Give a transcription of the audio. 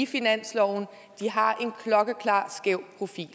finansloven har en klokkeklar skæv profil